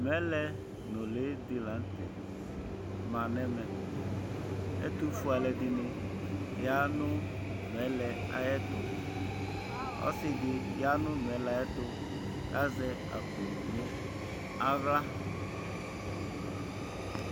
Mɛlɛ nʋli dila nʋtɛ manʋ ɛmɛ ɛtʋfue alɛdini yanʋ mɛlɛ ayʋ ɛtʋ ɔsidi yanʋ mɛlɛ avy ɛtʋ kʋ azɛ akpo nʋ aɣla